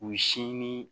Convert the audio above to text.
U sin ni